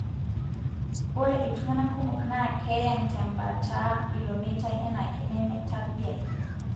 ore iltungana kumok na keyang tembataa ilo meitai enaake nemetadiaki.